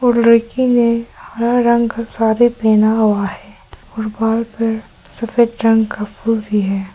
और लड़की ने हरा रंग का सारी पहना हुआ है और बाल पर सफेद रंग का फूल भी है।